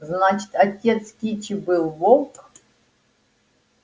значит отец кичи был волк